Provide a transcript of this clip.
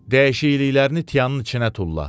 Dəyişikliklərini tianın içinə tulla.